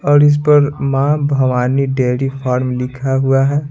और इस पर मां भवानी डेरी फार्म लिखा हुआ है।